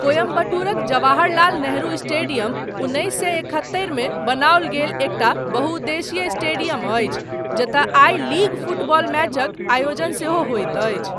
कोयम्बटूरक Jawaharlal Nehru stadium उन्नैस सए एकहत्तरि मे बनाओल गेल एकटा बहुउद्देशीय स्टेडियम अछि, जतय आई लीग फुटबॉल मैचक आयोजन सेहो होइत अछि।